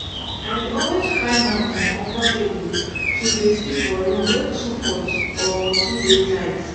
i dey always find am uncomfortable to dey sleep for room wey too hot or dey too tight